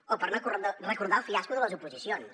o per no recordar el fiasco de les oposicions